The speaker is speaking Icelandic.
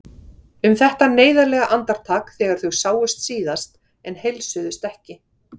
Um þetta neyðarlega andartak þegar þau sáust síðast en heilsuðust ekki.